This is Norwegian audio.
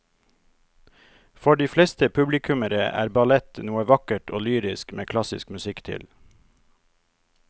For de fleste publikummere er ballett noe vakkert og lyrisk med klassisk musikk til.